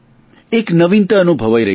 એક નવીનતા અનુભવાઈ રહી છે